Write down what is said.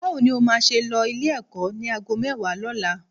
Báwo ni o máa ṣe lọ Ilé-ẹ̀kọ́ ní aago mẹ́wàá lọ́la?